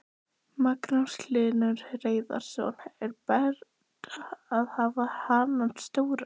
Magnús Hlynur Hreiðarsson: Er betra að hafa hanana stóra?